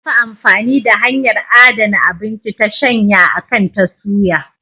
Za a fi amfani da hanyar adana abinci ta shanya akan ta suya.